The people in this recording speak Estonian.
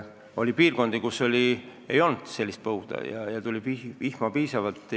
Oli neid kante, kus erilist põuda ei olnud, vihma tuli piisavalt.